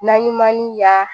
Naɲumanni y'a